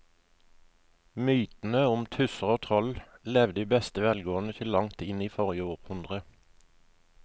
Mytene om tusser og troll levde i beste velgående til langt inn i forrige århundre.